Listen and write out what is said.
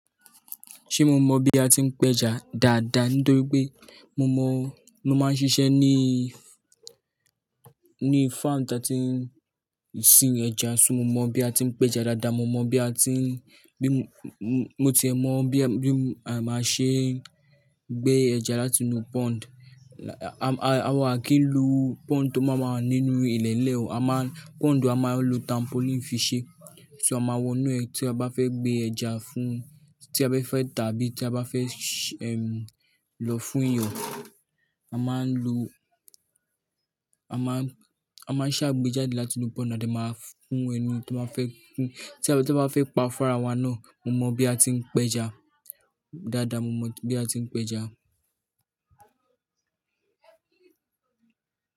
Ṣé mo mọ bí a ti ń péja dáadáa? Nítori pé, mo mọ̀, mo máa ń ṣiṣẹ́ ní, ní farm tí a ti ń sin ẹja, ṣùgbọ́n mo mọ bí a ti ń péja dáadáa, mo mọ bí a ti ń, bí mo ti mọ bí, bí a máa ṣe gbé ẹja láti inú pond. Awa à kí ń lo pond tó máa máa nínú ilẹ̀ lẹ́ o. A máa ń-- pond a máa ń lo trampoline fi ṣe, ṣó ama wọ inú ẹ̀ tí a bá fẹ́ gbé ẹja fún, tí a bá fẹ́ tàbí tí a bá fẹ́, ehm, lọ fún èèyàn. A máa ń lo, a máa, a máa ń ṣàgbéjáde láti inú pond, a de máa fún ẹni tí wọ́n fẹ́, tí ẹni tí wọ́n bá fẹ́ pa fún ara wa náà. Mo mọ bí a ti ń péja dáadáa, mo mọ bí a ti ń péja.